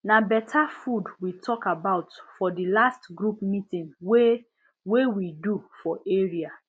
na better food we talk about for the last group meeting wey wey we do for area